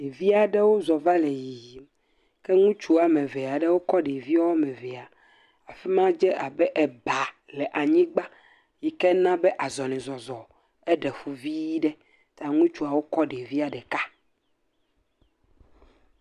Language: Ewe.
Ɖevi aɖewo zɔ va le yiyim. Ke ŋutsu woame ve aɖewo kɔ ɖevi woame vea. Afi ma dze abe eba le anyigba yi ken a be azɔlizɔzɔ eɖe fu vii ɖe ta ŋutsuawo kɔ ɖevia ɖeka.